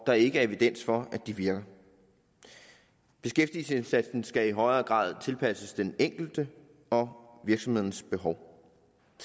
der ikke er evidens for virker beskæftigelsesindsatsen skal i højere grad tilpasses den enkelte og virksomhedernes behov